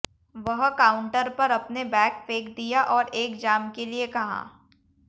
वह काउंटर पर अपने बैग फेंक दिया और एक जाम के लिए कहा